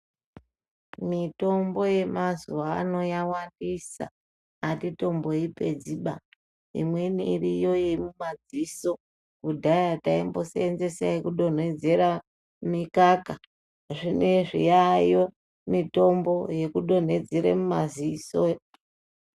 Mitombo yemazuva anawa yawandisa atitomboipedzi ba imweni iriyo yemumadziso kudhaya taimbosevenza yekudonhedzera mikaka zvinezvi yayo mitombo yekudonhedzera maziso.